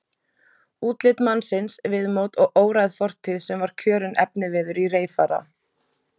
Útlit mannsins, viðmót og óræð fortíð var sem kjörinn efniviður í reyfara.